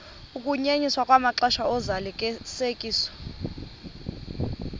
ukunyenyiswa kwamaxesha ozalisekiso